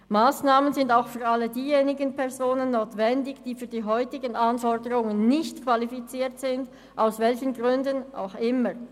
Massnahmen sind auch für alle diejenigen Personen notwendig, die für die heutigen Anforderungen nicht qualifiziert sind – aus welchen Gründen auch immer.